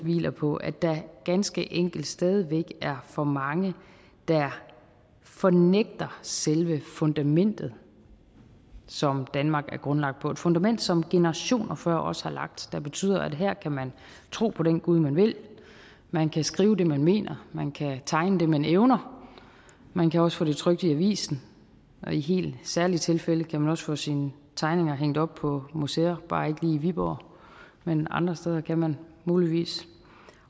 hviler på at der ganske enkelt stadig væk er for mange der fornægter selve fundamentet som danmark er grundlagt på et fundament som generationer før os har lagt og som betyder at her kan man tro på den gud man vil man kan skrive det man mener man kan tegne det man evner og man kan også få det trykt i avisen og i helt særlige tilfælde kan man også få sine tegninger hængt op på museer bare i viborg men andre steder kan man muligvis